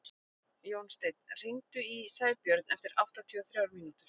Jónsteinn, hringdu í Sæbjörn eftir áttatíu og þrjár mínútur.